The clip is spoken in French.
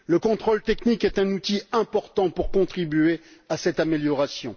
Le contrôle technique est un outil important pour contribuer à cette amélioration.